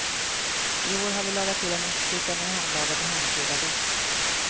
I år har vi lagat till en ostbricka med hemlagad och hemkryddad ost.